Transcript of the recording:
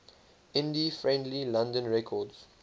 indie friendly london records